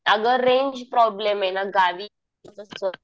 अगं range problem आहे ना गावी